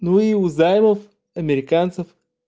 ну и у займов американцев